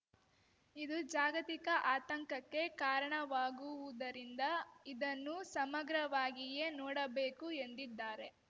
ಇದು ಜಾಗತಿಕ ಆತಂಕಕ್ಕೆ ಕಾರಣವಾಗುವುದರಿಂದ ಇದನ್ನು ಸಮಗ್ರವಾಗಿಯೇ ನೋಡಬೇಕು ಎಂದಿದ್ದಾರೆ